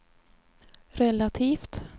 relativt